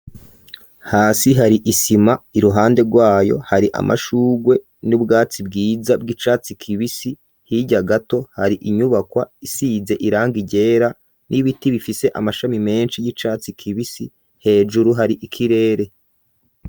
Hasi hari isima iruhande rwayo hari amashurwe n'ubwatsi bwiza bw'icatsi kibisi hirya gato hari inyubakwa isize irangi ryera n'ibiti bifise amashami meshi y'icatsi kibisi hejuru hari ikirere.